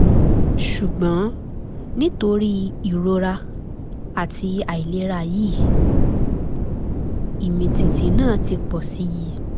ṣùgbọ́n nítorí ìrora àti àìlera yìí ìmìtìtì náà ti pọ̀ sí i